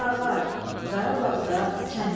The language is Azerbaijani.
Drağar, Qarabağda kənd adı.